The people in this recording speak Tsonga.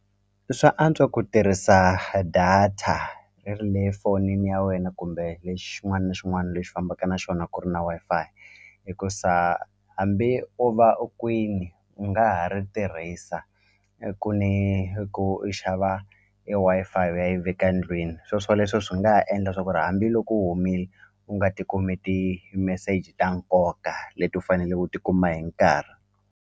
Swa antswa ku tirhisa data i ri le fonini ya wena kumbe lexi xin'wani ni xin'wani lexi fambaka na xona ku ri na Wi-Fi hikusa hambi o va u kwini u nga ha ri tirhisa i ku ni i ku i xava e Wi-Fi u ya yi veka ndlwini swoswoleswo swi nga ha endla swa ku ri hambiloko u humini u nga ti kumi ti meseji ta nkoka leti u faneleke u tikuma hi nkarhi.